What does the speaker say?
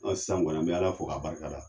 sisan kɔni an be ala fo ka barika da .